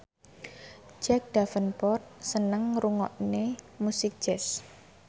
Jack Davenport seneng ngrungokne musik jazz